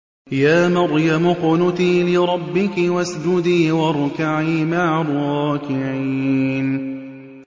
يَا مَرْيَمُ اقْنُتِي لِرَبِّكِ وَاسْجُدِي وَارْكَعِي مَعَ الرَّاكِعِينَ